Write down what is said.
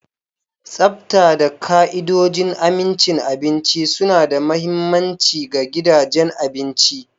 Tsafta da ka'idojin amincin abinci suna da mahimmanci ga gidajen abinci.